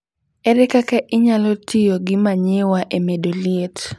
Ere kaka inyalo tiyo gi manyiwa e medo liet?